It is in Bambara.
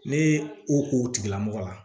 Ne o k'o tigilamɔgɔ la